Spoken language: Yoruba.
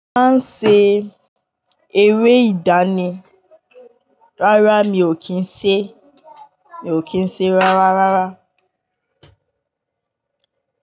Máa n ṣe eré ìdánì, rárá mi ò kí ń ṣe, mi ò kí ń ṣe rárá rárá.